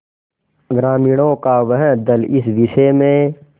ग्रामीणों का वह दल इस विषय में